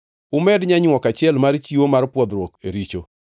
Umed nyanywok achiel mar chiwo mar pwodhruok e richo.